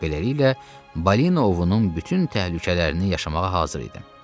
Beləliklə, balina ovunun bütün təhlükələrini yaşamağa hazır idim.